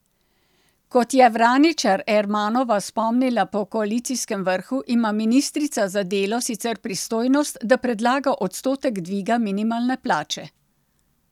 Kot je Vraničar Ermanova spomnila po koalicijskem vrhu, ima ministrica za delo sicer pristojnost, da predlaga odstotek dviga minimalne plače.